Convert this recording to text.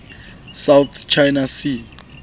south china sea